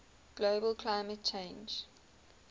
global climate change